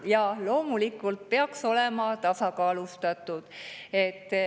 Jaa, loomulikult peaks see olema tasakaalustatud.